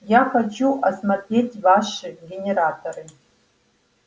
я хочу осмотреть ваши генераторы